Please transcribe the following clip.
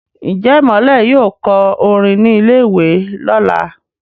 Njé Imole yóò kọ orin ní ilè ìwé lọla?